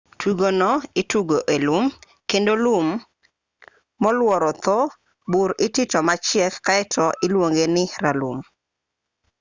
tugono itugo e lum kendo lum molworo dho bur itito machiek kaeto iluonge ni ralum